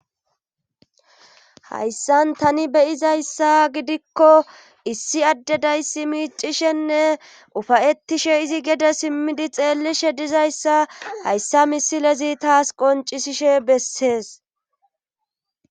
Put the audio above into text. hayssan tani beyizayssa gidikko issi addedayssi miicishenne ufayettishe izi gede simmidi xeellishe dizayssa hayssa misilezi taas qoncisishe bessees